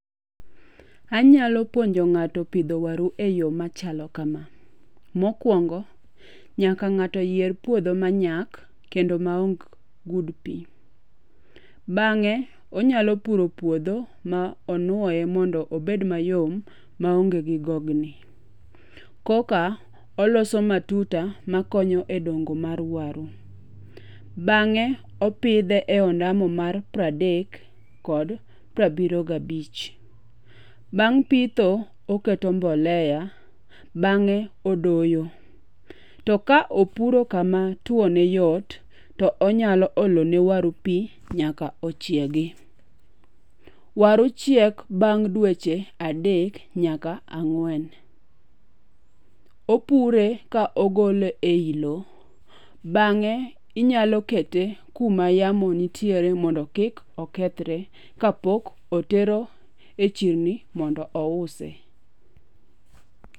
Anyalo puonjo ng'ato pidho waru eyo machalo kama. Mokwongo, nyaka ng'ato yier puodho manyak kendo maongk gud pi. Bang'e, onyalo puro puodho ma onwoye ma obed mayom maonge gi gogni. Koka oloso matuta makonyo e dongo mar waru. Bang'e opidhe e ondamo mar pradek kod prabiriyo gabich. Bang' pitho, oketo mboleya bang'e odoyo. To ka opuro kama two ne yot, to onyalo olo ne waru pi nyaka ochiegi. Waru chiek bang' dweche adek nyaka ang'wen. Opure ka ogole ei lo, bang'e inyalo kete kuma yamo nitiere mondo kik okethre kapok otero e chirni mondo ouse.